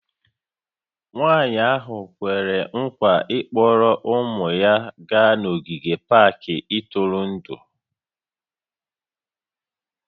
Nwanyị ahụ kwere nkwa ịkpọrọ ụmụ ya gaa n'ogige pak ntụrụndụ